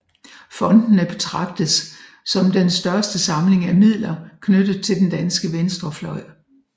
Fondene betragtes som den største samling af midler knyttet til den danske venstrefløj